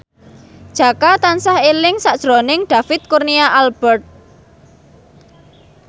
Jaka tansah eling sakjroning David Kurnia Albert